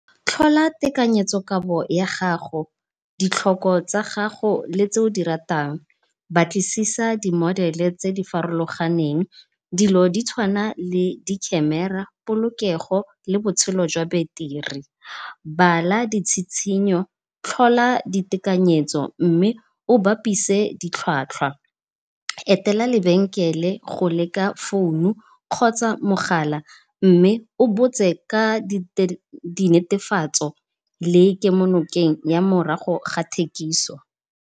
Tlhola tekanyetsokabo ya gago, ditlhoko tsa ga go le tse o di ratang. Batlisisa di modele tse di farologaneng dilo ditshwana le di camera polokego le botshelo jwa beteri. Bala ditshitshinyo, tlhola ditekanyetso mme o bapise ditlhwatlhwa. Etela lebenkele go leka founu kgotsa mogala mme o botse ka di netefatso le kemonokeng ya morago ga thekiso.